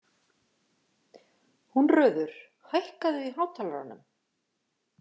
Húnröður, hækkaðu í hátalaranum.